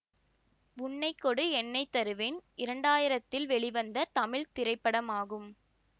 உன்னை கொடு என்னை தருவேன் இரண்டு ஆயிரத்தில் வெளிவந்த தமிழ் திரைப்படம் ஆகும்